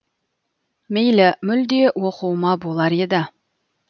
мейлі мүлде оқуыма болар еді